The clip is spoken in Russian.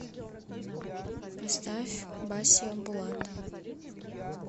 поставь басиа булат